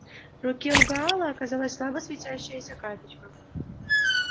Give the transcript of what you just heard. в руке у гаала оказалась слабо светящаяся карточка